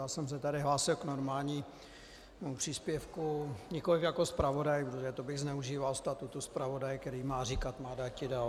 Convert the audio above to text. Já jsem se tady hlásil k normálnímu příspěvku, nikoliv jako zpravodaj, protože to bych zneužíval statutu zpravodaje, který má říkat má dáti - dal.